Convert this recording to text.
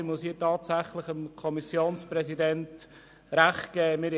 Ich muss hier tatsächlich dem Kommissionspräsidenten recht geben.